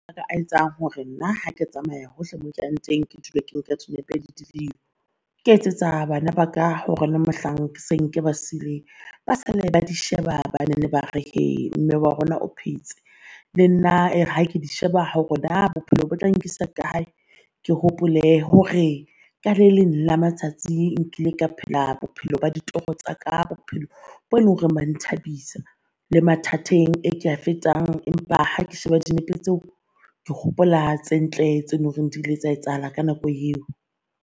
A etsang hore nna ha ke tsamaya hohle mo ke yang teng ke dule ke nka dinepe le di . Ke etsetsa bana ba ka hore le mohlang ke seng ke ba sileng ba sale, ba di sheba ba nene ba re uh mme wa rona o phetse. Le nna uh ha ke di sheba naa bophelo bo tla nkisa kae. Ke hopole hore ka le leng la matsatsi nkile ka phela bophelo ba ditoro tsaka bophelo bo leng hore ba nthabisa le mathateng e ke a fetang empa ha ke sheba dinepe tseo, ke hopola tse ntle tse lo reng di ile tsa etsahala ka nako eo.